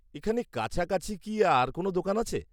এখানে কাছাকাছি কি আর কোনও দোকান আছে?